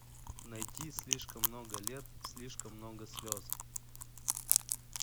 найти слишком много лет слишком много слез